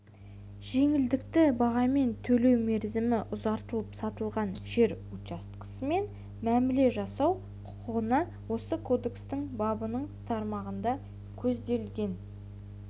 жеңілдікті бағамен төлеу мерзімі ұзартылып сатылған жер учаскесімен мәміле жасасу құқығына осы кодекстің бабының тармағында көзделген